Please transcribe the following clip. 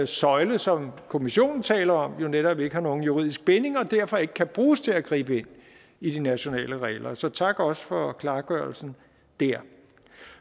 søjle som kommissionen taler om jo netop ikke har nogen juridisk binding og derfor ikke kan bruges til at gribe ind i de nationale regler så tak også for klargørelsen der